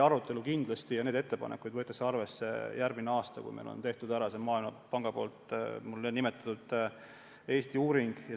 Arutelu nende ettepanekute üle tuleb järgmisel aastal, kui Maailmapank on minu nimetatud Eesti seisu analüüsiva uuringu teinud.